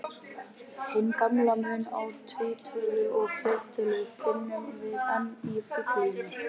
Hinn gamla mun á tvítölu og fleirtölu finnum við enn í Biblíunni.